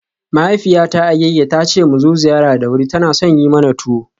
Mahaifiyata Agege ta ce mu zo ziyara da wuri, tana son yi mana tuwo.